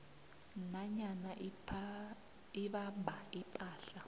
nanyana abamba ipahla